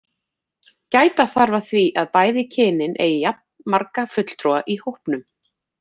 Gæta þarf að því að bæði kynin eigi jafnmarga fulltrúa í hópnum.